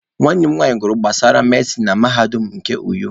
Nwanne m nwanyị gụrụ gbasara medịsịn na mahadum nke Uyo.